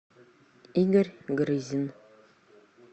игорь грызин